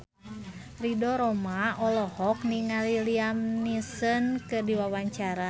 Ridho Roma olohok ningali Liam Neeson keur diwawancara